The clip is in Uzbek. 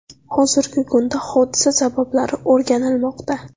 Hozirgi kunda hodisa sabablari o‘rganilmoqda.